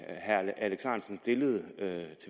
herre alex ahrendtsen stillede